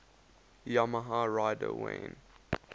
yamaha rider wayne